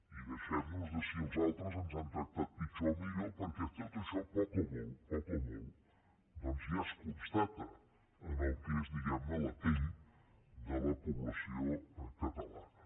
i deixem nos de si els altres ens han tractat pitjor o millor perquè tot això poc o molt poc o molt ja es constata en el que és diguem ne la pell de la població catalana